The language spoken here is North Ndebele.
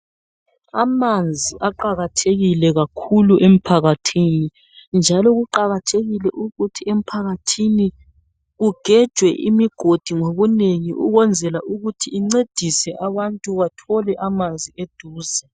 Amanzi aqakathekile kakhulu emphakathini njalo kuqakathekile ukuthi kugejwe imigodi ngobunengi ukwenzela ukuthi incedise abantu bathole amanzi eduze